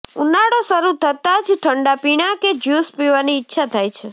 ઉનાળો શરૂ થતાં જ ઠંડા પીણાં કે જ્યૂસ પીવાની ઈચ્છા થાય છે